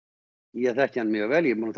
ég þekki hann mjög vel ég